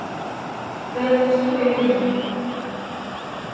Hvenær komst þú í vinnuna?